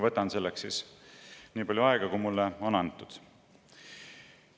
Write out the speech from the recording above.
Võtan selleks nii palju aega, kui mulle on antud.